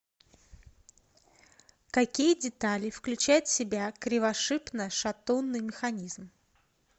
какие детали включает в себя кривошипно шатунный механизм